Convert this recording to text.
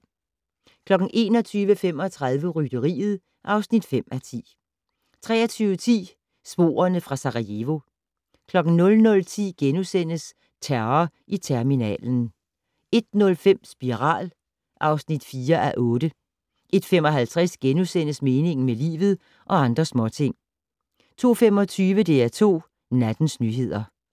21:35: Rytteriet (5:10) 23:10: Sporene fra Sarajevo 00:10: Terror i terminalen * 01:05: Spiral (4:8) 01:55: Meningen med livet - og andre småting * 02:25: DR2 Nattens nyheder